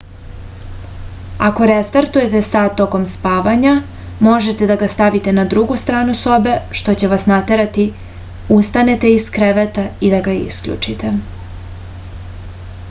ako resetujete sat tokom spavanja možete da ga stavite na drugu stranu sobe što će vas naterati ustanete iz kreveta i da ga isključite